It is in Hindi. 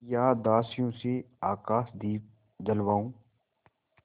या दासियों से आकाशदीप जलवाऊँ